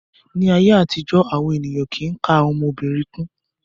Ní ayé àtijó, àwọn ènìyàn kìí ka ọmọ obìnrin kún.